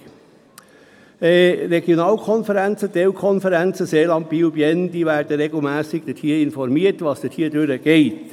Die Regionalkonferenzen, Teilkonferenzen Seeland Biel/Bienne werden regelmässig darüber informiert, was dort vor sich geht.